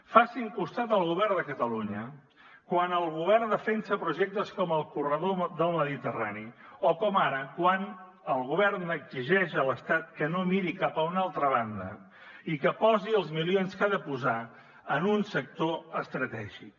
facin costat al govern de catalunya quan el govern defensa projectes com el corredor mediterrani o com ara quan el govern exigeix a l’estat que no miri cap a una altra banda i que posi els milions que ha de posar en un sector estratègic